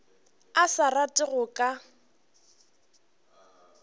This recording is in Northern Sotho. a sa rate go ka